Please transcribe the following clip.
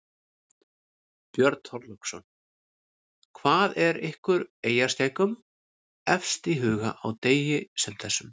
Björn Þorláksson: Hvað er ykkur eyjaskeggjum efst í huga á degi sem þessum?